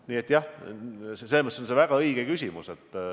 Nii et jah, selles mõttes on see väga õige küsimus.